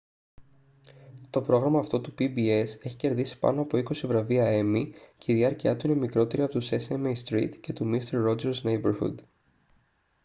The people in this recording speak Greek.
to πρόγραμμα αυτό του pbs έχει κερδίσει πάνω από είκοσι βραβεία emmy και η διάρκειά του είναι μικρότερη από του sesame street και του mister rogers' neighborhood